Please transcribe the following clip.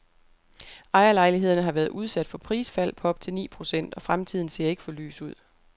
Ejerlejlighederne har været udsat for prisfald på op til ni procent, og fremtiden ser ikke for lys ud.